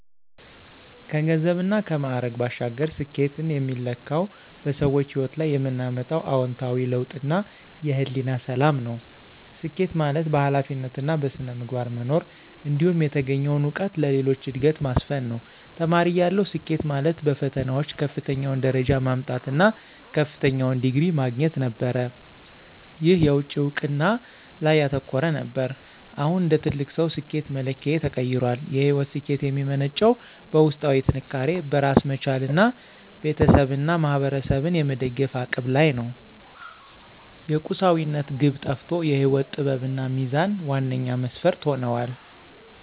ከገንዘብና ከማዕረግ ባሻገር፣ ስኬትን የሚለካው በሰዎች ሕይወት ላይ የምናመጣው አዎንታዊ ለውጥና የሕሊና ሰላም ነው። ስኬት ማለት በኃላፊነትና በሥነ ምግባር መኖር፣ እንዲሁም የተገኘውን እውቀት ለሌሎች ዕድገት ማስፈን ነው። ተማሪ እያለሁ፣ ስኬት ማለት በፈተናዎች ከፍተኛውን ደረጃ ማምጣት እና ከፍተኛውን ዲግሪ ማግኘት ነበር። ይህ የውጭ እውቅና ላይ ያተኮረ ነበር። አሁን እንደ ትልቅ ሰው፣ ስኬት መለኪያዬ ተቀይሯል። የሕይወት ስኬት የሚመነጨው በውስጣዊ ጥንካሬ፣ በራስ መቻልና ቤተሰብንና ማኅበረሰብን የመደገፍ አቅም ላይ ነው። የቁሳዊነት ግብ ጠፍቶ የሕይወት ጥበብና ሚዛን ዋነኛ መስፈርት ሆነዋል።